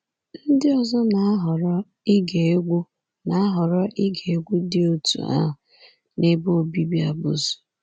Ndị ọzọ na-ahọrọ ige egwú na-ahọrọ ige egwú dị otú ahụ n’ebe obibi abụzụ.